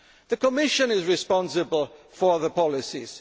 stop that. The Commission is responsible for